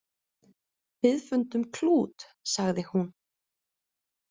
Við fundum klút, sagði hún.